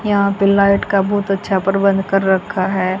यहां पे लाइट का बहुत अच्छा प्रबंध कर रखा है।